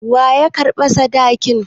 Wa ya karɓa sadakin?